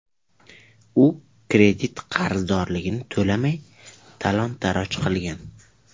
U kredit qarzdorligini to‘lamay, talon-toroj qilgan.